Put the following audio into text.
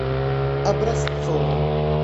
образцовым